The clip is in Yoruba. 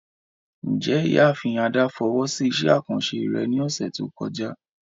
Njẹ Iyaafin Ada fowo si iṣẹ akanṣe rẹ ni ọsẹ to kọja?